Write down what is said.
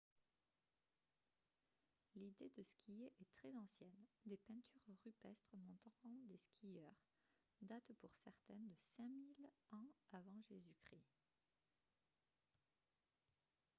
l'idée de skier est très ancienne : des peintures rupestres montrant des skieurs datent pour certaines de 5 000 ans av. j.-c. !